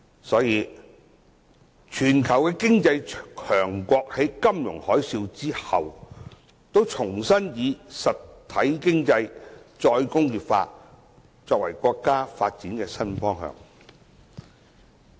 所以，全球經濟強國在金融海嘯後，都重新以"實體經濟"和"再工業化"作為國家發展的新方向。